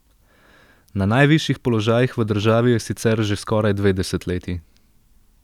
Na najvišjih položajih v državi je sicer že skoraj dve desetletji.